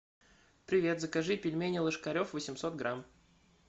привет закажи пельмени ложкарев восемьсот грамм